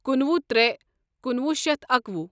کنُوہ ترٛے کنُوہ شیتھ اکوُہ